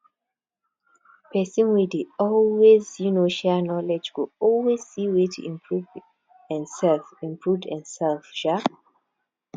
person wey dey always um share knowledge go always see way to improve en sef improve en sef um